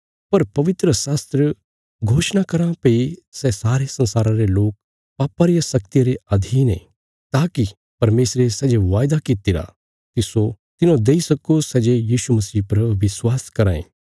पर पवित्रशास्त्र घोषणा कराँ भई सै सारे संसारा रे लोक पापा रिया शक्तिया रे अधीन आ ताकि परमेशरे सै जे वायदा कित्तिरा तिस्सो तिन्हौं देई सक्को सै जे यीशु मसीह पर विश्वास कराँ ये